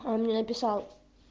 а он мне написал